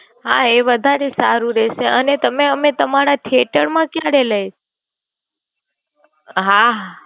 હા એ વધારે સારું રેસે અને તમે અમે તમારા theater માં કયારે લય? હા